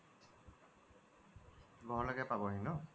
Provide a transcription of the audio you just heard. ঘৰলৈকে পাবহি ন